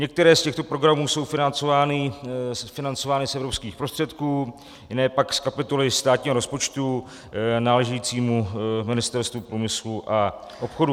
Některé z těchto programů jsou financovány z evropských prostředků, jiné pak z kapitoly státního rozpočtu náležející Ministerstvu průmyslu a obchodu.